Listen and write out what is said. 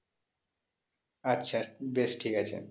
আচ্ছা বেশ ঠিক আছে